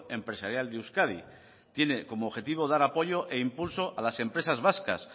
empresarial de euskadi tiene como objetivo dar apoyo e impulso a las empresas vascas